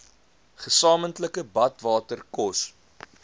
gesamentlike badwater kos